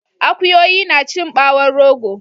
Akuyoyi nacin ɓawon rogo